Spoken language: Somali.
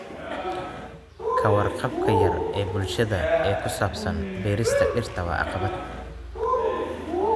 Ka warqabka yar ee bulshada ee ku saabsan beerista dhirta waa caqabad.